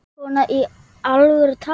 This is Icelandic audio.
Guðný: Svona í alvöru talað?